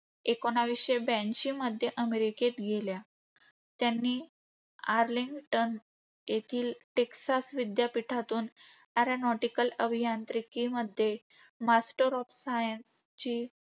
एकोणीसशे ब्याऐंशीमध्ये अमेरिकेत गेल्या, त्यांनी आर्लिंग्टन येथील टेक्सास विद्यापीठातून aeronautical अभियांत्रिकीमध्ये मास्टर ऑफ सायन्सची